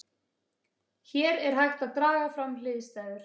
hér er hægt að draga fram hliðstæður